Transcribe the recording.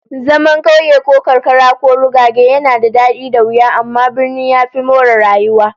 Zaman kauye ko karkara ko rugage yana da dadi da wuya, amma birni ya fi more rayuwa